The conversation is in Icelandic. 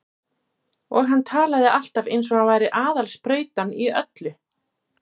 Og hann talaði alltaf eins og hann væri aðal sprautan í öllu.